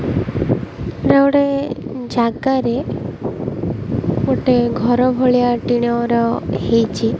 ଏଟା ଗୋଟେ ଜାଗାରେ ଗୋଟିଏ ଘର ଭଳିଆ ଟିଣର ହେଇଚି।